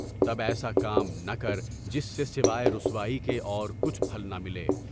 تب ایسا کام نہ کر جس سے سوائے رسوائی کے اور کچھ پھل نہ ملے۔